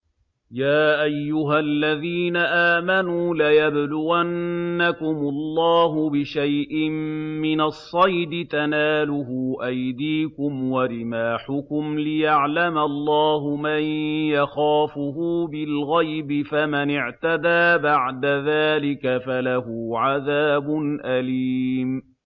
يَا أَيُّهَا الَّذِينَ آمَنُوا لَيَبْلُوَنَّكُمُ اللَّهُ بِشَيْءٍ مِّنَ الصَّيْدِ تَنَالُهُ أَيْدِيكُمْ وَرِمَاحُكُمْ لِيَعْلَمَ اللَّهُ مَن يَخَافُهُ بِالْغَيْبِ ۚ فَمَنِ اعْتَدَىٰ بَعْدَ ذَٰلِكَ فَلَهُ عَذَابٌ أَلِيمٌ